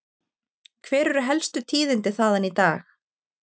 Hver eru helstu tíðindi þaðan í dag?